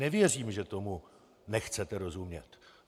Nevěřím, že tomu nechcete rozumět.